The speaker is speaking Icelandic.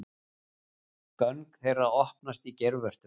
Göng þeirra opnast í geirvörtum.